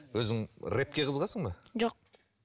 өзің рэпке қызығасың ба жоқ